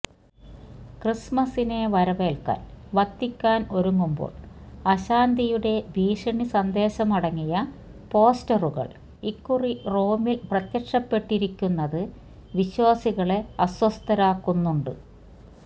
ക്രിസ്മസിനെ വരവേൽക്കാൻ വത്തിക്കാൻ ഒരുങ്ങുമ്പോ ൾ അശാന്തിയുടെ ഭീഷണിസന്ദേശമടങ്ങിയ പോസ്റ്ററുകൾ ഇക്കുറി റോമിൽ പ്രത്യക്ഷപ്പെട്ടിരിക്കുന്നത് വിശ്വാസികളെ അ സ്വസ്ഥരാക്കുന്നുണ്ട്